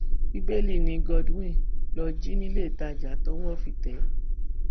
bíbélì ni godwin lọọ jí níléetajà tọwọ fi tẹ ẹ